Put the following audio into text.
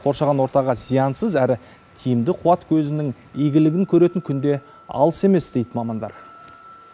қоршаған ортаға зиянсыз әрі тиімді қуат көзінің игілігін көретін күн де алыс емес дейді мамандар